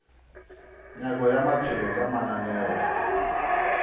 nyako ya maphelo ka mananeo